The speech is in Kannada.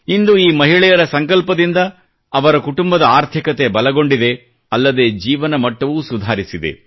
ಇಂದು ಈ ಮಹಿಳೆಯರ ಸಂಕಲ್ಪದಿಂದ ಅವರ ಕುಟುಂಬದ ಆರ್ಥಿಕತೆ ಬಲಗೊಂಡಿದೆ ಅಲ್ಲದೆ ಜೀವನಮಟ್ಟವೂ ಸುಧಾರಿಸಿದೆ